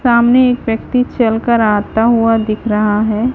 सामने एक व्यक्ति चलकर आता हुआ दिख रहा है।